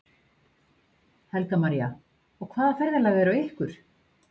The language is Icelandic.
Helga María: Og hvaða ferðalag er á ykkur?